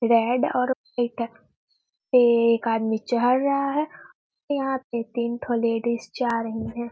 Red और pink है एक आदमी चल रहा है यहाँ पे तीन लेडीज जा रही हैं ।